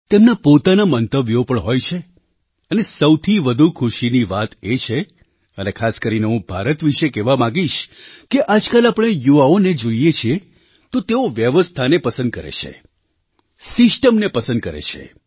તેમનાં પોતાનાં મંતવ્યો પણ હોય છે અને સૌથી વધુ ખુશીની વાત એ છે અને ખાસ કરીને હું ભારત વિશે કહેવા માગીશ કે આજકાલ આપણે યુવાઓને જોઈએ છીએ તો તેઓ વ્યવસ્થાને પસંદ કરે છે સિસ્ટમને પસંદ કરે છે